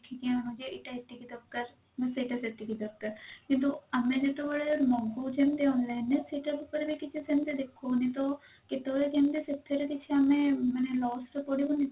ଦେଖିକି ଆଣୁଛେ ଏଇଟା ଏତିକି ଦରକାର ଉଁ ସେଇଟା ସେତିକି ଦରକାର କିନ୍ତୁ ଆମେ ଯେତେବେଳେ ମଗଉଛେ ଏମିତି online ରେ ସେଟା ଉପରେ ବି କିଛି ସେମତି କିଛି ଦେଖଉନି ତ କେତେବେଳେ କେମିତି ସେଥିରେ କିଛି ଆମେ ମାନେ loss ତ କରିବୁନି